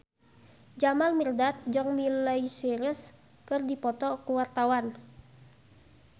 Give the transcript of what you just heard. Jamal Mirdad jeung Miley Cyrus keur dipoto ku wartawan